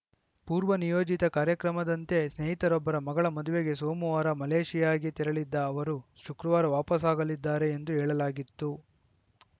ಪೂರ್ವ ನಿಯೋಜಿತ ಕಾರ್ಯಕ್ರಮದಂತೆ ಸ್ನೇಹಿತರೊಬ್ಬರ ಮಗಳ ಮದುವೆಗೆ ಸೋಮವಾರ ಮಲೇಷಿಯಾಗೆ ತೆರಳಿದ್ದ ಅವರು ಶುಕ್ರವಾರ ವಾಪಸಾಗಲಿದ್ದಾರೆ ಎಂದು ಹೇಳಲಾಗಿತ್ತು